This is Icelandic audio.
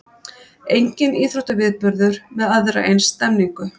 Enginn íþróttaviðburður með aðra eins stemningu